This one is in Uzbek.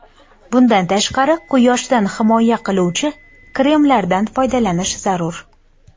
Bundan tashqari, quyoshdan himoya qiluvchi kremlardan foydalanish zarur.